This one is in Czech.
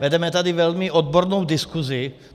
Vedeme tady velmi odbornou diskuzi.